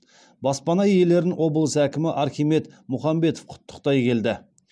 баспана иелерін облыс әкімі архимед мұхамбетов құттықтай келді